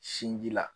Sinji la